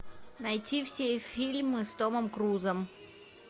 найти все фильмы с томом крузом